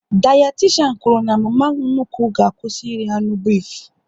Dayatishan kwụrụ na mama nnukwu ga-akwụsị iri anụ bifu